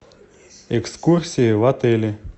экскурсии в отеле